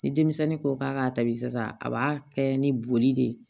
Ni denmisɛnnin ko k'a k'a tabi sisan a b'a kɛ ni boli de ye